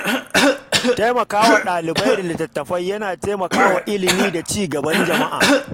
Taimaka wa dalibai da littattafai yana ƙarfafa ilimi da ci gaban jama’a.